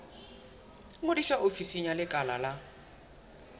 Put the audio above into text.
ngodisa ofising ya lekala la